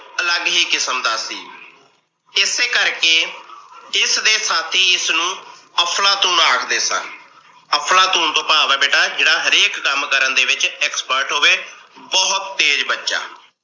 ਅਲੱਗ ਹੀ ਕਿਸਮ ਦਾ ਸੀ। ਇਸੇ ਕਰਕੇ ਇਸ ਦੇ ਸ਼ਾਥੀ ਇਸ ਨੂੰ ਅਫ਼ਲਾਤੂਨ ਆਖਦੇ ਸਨ। ਅਫ਼ਲਾਤੂਨ ਤੋਂ ਭਾਵ ਆ ਬੇਟਾ ਜਿਹੜਾ ਹਰੇਕ ਕੰਮ ਕਰਨ ਦੇ ਵਿੱਚ expert ਹੋਵੇ ਬਹੁਤ ਤੇਜ ਬਚਾ।